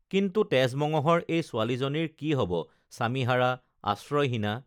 কিন্তু তেজ মঙহৰ এই ছোৱালীজনীৰ কি হব স্বামীহাৰা আশ্ৰয়হীনা